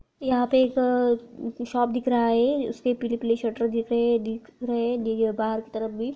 यहां पर एक शॉप दिख रहा है उसके पीछे पीली पीली शटर दिख रही है दिख रही है दे बाहर की तरफ भी --